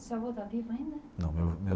Seu avô está vivo ainda? Não, meu avô meu.